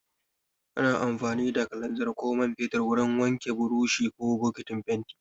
Ana amfani da kalanzir ko man fetur wurin wanke buroshi ko bokitin fenti.